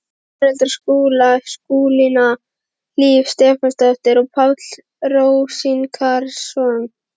Foreldrar Skúla, Skúlína Hlíf Stefánsdóttir og Páll Rósinkransson.